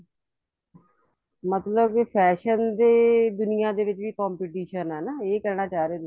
ਮਤਲਬ ਕੇ fashion ਦੇ ਦੁਨੀਆ ਵਿੱਚ ਵੀ competition ਹੈ ਨਾ ਇਹ ਕਹਿਣਾ ਚਾਹ ਰਹੇ ਤੁਸੀਂ